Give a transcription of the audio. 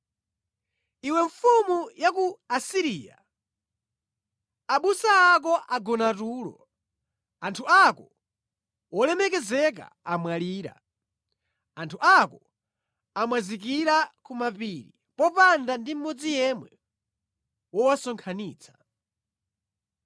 Iwe mfumu ya ku Asiriya, abusa ako agona tulo; anthu ako olemekezeka amwalira. Anthu ako amwazikira ku mapiri popanda ndi mmodzi yemwe wowasonkhanitsa.